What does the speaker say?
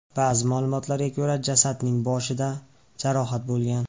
Ba’zi ma’lumotlarga ko‘ra, jasadning boshida jarohat bo‘lgan.